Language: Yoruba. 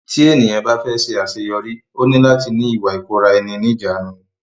Tí ènìyàn bá fẹ́ ṣe àṣeyọrí ó ní láti ní Ìwà ìkóra ẹni níjàánu.